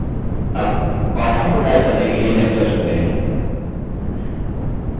अब पाठों को टाइप करने के लिए lecture चुनते हैं